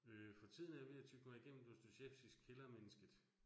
Øh for tiden er jeg ved at tygge mig igennem Dostojevskijs Kældermennesket